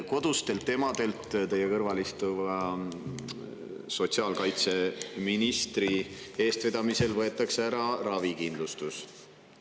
Kodustelt emadelt võetakse teie kõrval istuva sotsiaalkaitseministri eestvedamisel ära ravikindlustus.